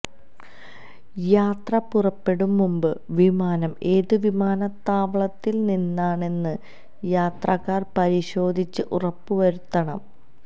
യാത്ര പുറപ്പെടും മുമ്പ് വിമാനം ഏത് വിമാനത്താവളത്തില് നിന്നാണെന്ന് യാത്രക്കാര് പരിശോധിച്ച് ഉറപ്പുവരുത്തണം